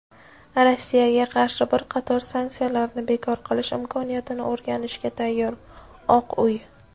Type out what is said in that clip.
Rossiyaga qarshi bir qator sanksiyalarni bekor qilish imkoniyatini o‘rganishga tayyor – "Oq uy".